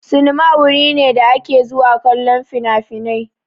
Sinima wuri ne da ake zuwa kallon finafinai.